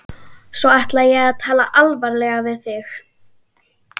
Svo ætla ég að tala alvarlega við þig.